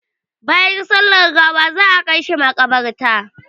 Bayan sallar gawa za a kai shi maƙabarta.